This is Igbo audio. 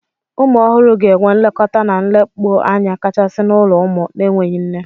Ụmụ ọhụrụ ga-enwe nlekọta na nlekpụanya kachasị n'ulo ụmụ n'enweghị nne.